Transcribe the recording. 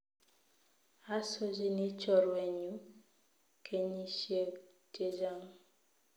Asochini chorwenyu kenyishiek chechang.